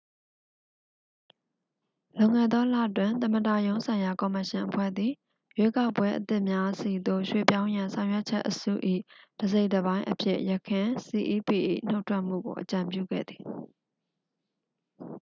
လွန်ခဲ့သောလတွင် သမ္မတရုံးဆိုင်ရာ ကော်မရှင်အဖွဲ့သည် ရွေးကောက်ပွဲအသစ်များဆီသို့ ရွှေ့ပြောင်းရန် ဆောင်ရွက်ချက်အစု၏ တစ်စိတ်တစ်ပိုင်းအဖြစ် ယခင် cep ၏ နှုတ်ထွက်မှုကို အကြံပြုခဲ့သည်